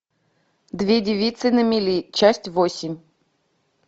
две девицы на мели часть восемь